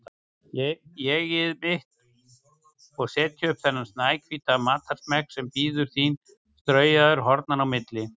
ÉG-ið mitt, og setja upp þennan snæhvíta matarsmekk sem bíður þín straujaður hornanna á milli.